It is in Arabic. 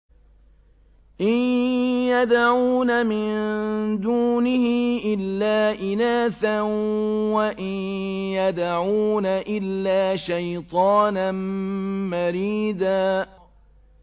إِن يَدْعُونَ مِن دُونِهِ إِلَّا إِنَاثًا وَإِن يَدْعُونَ إِلَّا شَيْطَانًا مَّرِيدًا